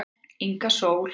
Inga Sól